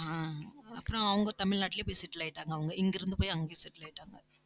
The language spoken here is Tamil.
ஆஹ் அப்புறம் அவங்க தமிழ்நாட்டிலேயே போய் settle ஆயிட்டாங்க அவங்க இங்கிருந்து போய் அங்கேயே settle ஆயிட்டாங்க